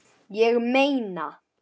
Ég meina